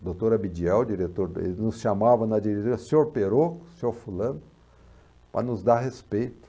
O doutor Abidiel, o diretor dele, nos chamava na diretoria, senhor Perocco, senhor fulano, para nos dar respeito.